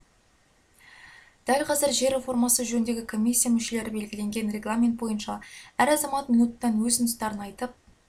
дәл қазір жер реформасы жөніндегі комиссия мүшелері белгіленген регламент бойынша әр азамат минуттан өз ұсыныстарын айтып